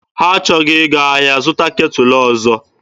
Ha achọghị ịga ahịa zụta ketụlụ ọzọ.